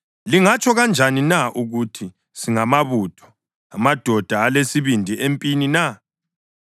Lingatsho kanjani na ukuthi, ‘Singamabutho, amadoda alesibindi empini na’?